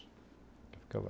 Fica lá.